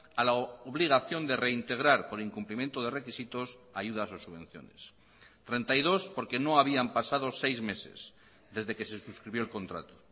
a la obligación de reintegrar por incumplimiento de requisitos ayudas o subvenciones treinta y dos porque no habían pasado seis meses desde que se suscribió el contrato